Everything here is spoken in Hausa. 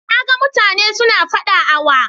Na gan mutane su na fada a wa